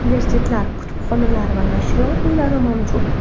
Universitetlar, kutubxonalar va nashriyot uylari mavjud.